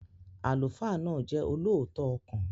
Àlùfáà náà jẹ́ olóòótọ́ ọkàn.